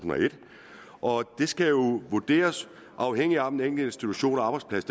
og et det skal jo vurderes afhængigt af om den enkelte institution og arbejdsplads